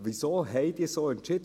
Wieso haben Sie so entschieden?